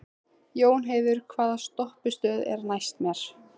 Jónheiður, hvaða stoppistöð er næst mér?